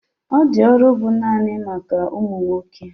Ọ di ọrụ bu naanị maka ụmụ nwoke